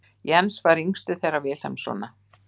Jens var yngstur þeirra Vilhelmssona.